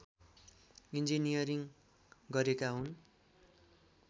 engineering गरेका हुन्